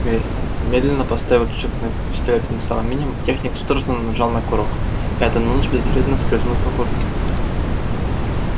медленно поставив рычажок пистолета на самый минимум техник судорожно нажал на курок и атомный луч безвредно скользнул по куртке